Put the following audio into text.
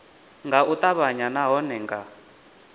nga u ṱavhanya nahone nga